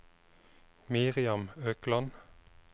Miriam Økland